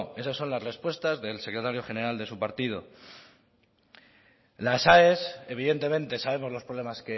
esas son las respuestas del secretario general de su partido las aes evidentemente sabemos los problemas